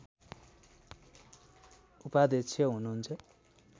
उपाध्यक्ष हुनुहुन्छ